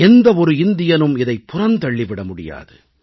எந்த ஒரு இந்தியனும் இதை புறந்தள்ளிவிட முடியாது